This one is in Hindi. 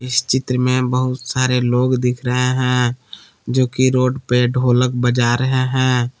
इस चित्र में बहुत सारे लोग दिख रहे हैं जोकि रोड पे ढोलक बजा रहे हैं।